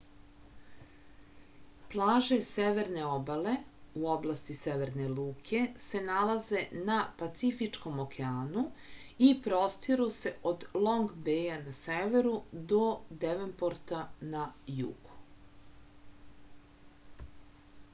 плаже северне обале у области северне луке се налазе на пацифичком океану и простиру се од лонг беја на северу до девенпорта на југу